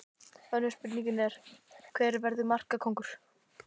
Önnur spurning er: Hver verður markakóngur?